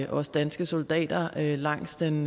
også danske soldater langs den